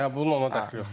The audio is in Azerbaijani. Yox, bunun ona dəxli yoxdur.